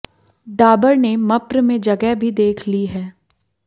डाबर ने मप्र में जगह भी देख ली है